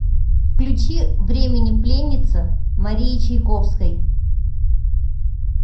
включи времени пленница марии чайковской